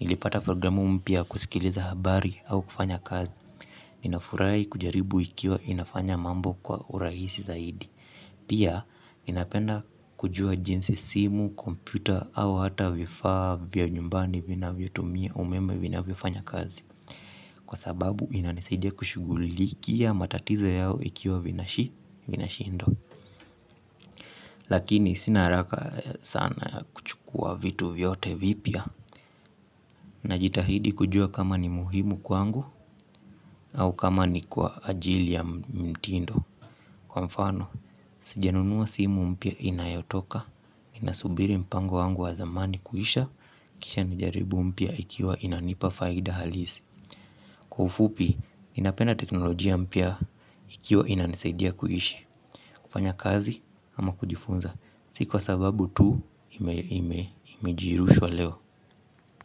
nilipata programu mpya yakusikiliza habari au kufanya kazi. Ninafurahii kujaribu ikiwa inafanya mambo kwa urahisi zaidi. Pia inapenda kujua jinsi simu, komputa au hata vifaa vya nyumbani vina vyotumia umeme vinavyo fanya kazi. Kwa sababu inanisidia kushugulikia matatiza yao ikiwa vina shi, vina shindwa. Lakini sina haraka sana kuchukua vitu vyote vipya. Najitahidi kujua kama ni muhimu kwangu au kama ni kwaajili ya mtindo. Kwa mfano, sijanunua simu mpya inayotoka, inasubiri mpango wangu wa zamani kuisha, kisha nijaribu mpya ikiwa inanipa faida halisi. Kwa ufupi, inapeana teknolojia mpya ikiwa inanisaidia kuishi, kufanya kazi ama kujifunza, si kwa sababu tu imejirushwa leo.